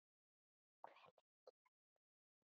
Hve lengi verður þú þarna?